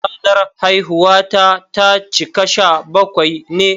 Ranar haihuwata ta cika sha bakwai ne.